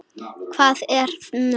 Hvað er nú?